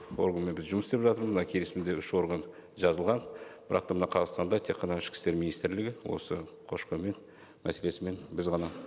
органмен біз жұмыс істеп жатырмыз мына келісімде үш орган жазылған бірақ та мына қазақстанда тек қана ішкі істер министрлігі осы көші қонмен мәселесімен біз ғана